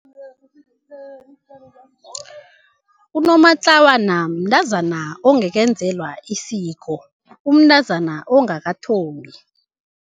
Unomatlawana mntazana ongakenzelwa isiko, umntazana ongakathombi.